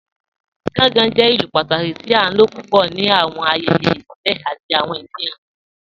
Gàngàn jẹ̀ ìlú pátàkí tì à ló púpọ̀ ní awọn ayẹyẹ ibìlẹ̀ àti awọn ìfihàn.